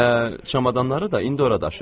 Elə çamadanları da indi ora daşı.